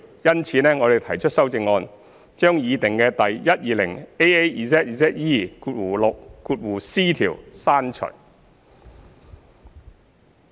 因此，我們提出修正案，將擬訂的第 120AAZZE6c 條刪除。